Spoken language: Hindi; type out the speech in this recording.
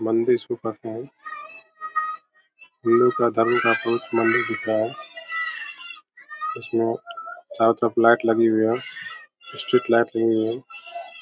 मंदिर इसको कहते हैं हिन्दू का धर्म का बहुत ही मंदिर दिख रहा है उसमे चारो तरफ लाइट लगी हुई है स्ट्रीट लाइट लगी हुई है।